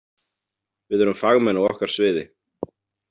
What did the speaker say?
Við erum fagmenn á okkar sviði.